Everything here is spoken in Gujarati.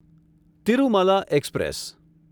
તિરુમાલા એક્સપ્રેસ